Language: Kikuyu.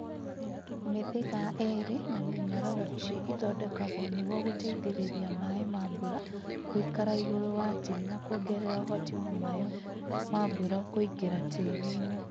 Mĩthĩga Ĩrĩ na Mĩnyororo Ici ithondekagwo nĩgwo gũteithĩrĩria maaĩ ma mbura gũikara igũrũ wa tĩĩri na kuongerera ũhoti wa maĩ ma mbura kũingĩra tĩĩri-inĩ.